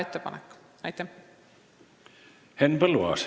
Henn Põlluaas.